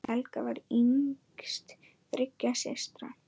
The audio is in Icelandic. Helga var yngst þriggja systra.